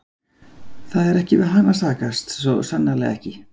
Það er ekki við hana að sakast, svo sannarlega ekki.